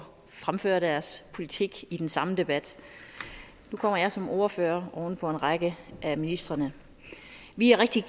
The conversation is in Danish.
fremføre deres politik i den samme debat nu kommer jeg som ordfører oven på en række af ministrene vi er rigtig